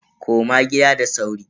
Koma gida da sauri.